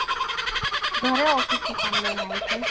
ઘરે ઓફિસથી કામ લઈને આવી છે